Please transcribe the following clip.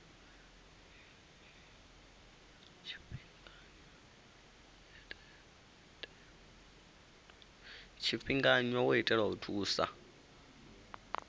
tshifhinganya wo itelwa u thusa